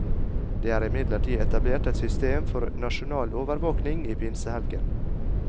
Det er imidlertid etablert et system for nasjonal overvåkning i pinsehelgen.